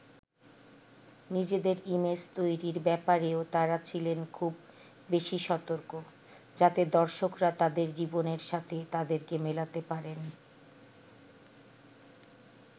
নিজেদের ইমেজ তৈরির ব্যাপারেও তারা ছিলেন খুব বেশি সতর্ক, যাতে দর্শকরা তাদের জীবনের সাথে তাদেরকে মেলাতে পারেন।